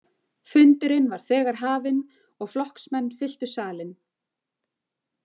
Fundurinn var þegar hafinn og flokksmenn fylltu salinn.